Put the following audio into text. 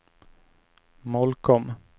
Molkom